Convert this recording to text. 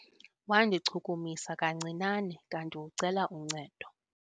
Wandichukumisa kancinane kanti ucela uncedo.